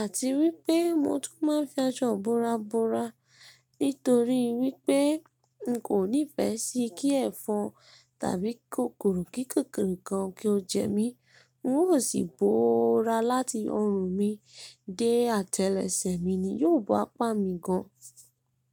àti wípé mo tún máa ń fi aṣọ ìbora bora, nítorí wípé n kò nífẹ́ sí kí ẹ̀fọn tàbí kòkòrò kíkòkòrò kan kí ó jẹ mí. N ó sì bora láti ọrùn mi dé atẹ́lẹsẹ̀ mi ni yóò bá pà mí gan.